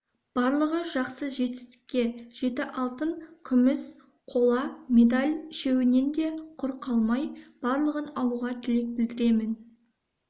барлығы жақсы жетістікке жеті алтын күміс қола медаль үшеуінен де құр қалмай барлығын алуға тілек білдіремен